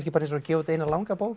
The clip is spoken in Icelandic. eins og að gefa út eina langa bók